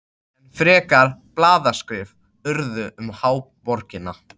Enn frekari blaðaskrif urðu um háborgina.